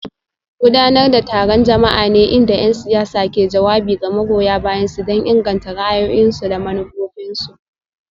Gudanar da taron jama'a ne inda 'yan siyasa ke jawabi ga magoya bayansu don inganta ra'ayoyinsu da manufofinsu.